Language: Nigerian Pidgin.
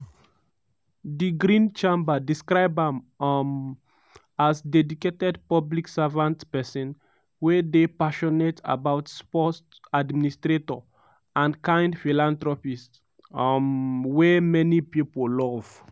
di green chamber describe am um as “dedicated public servant pesin wey dey passionate about sports administrator and kind philanthropist um wey many pipo love.”